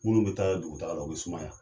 Munnu be taa dugutaga la u be sumaya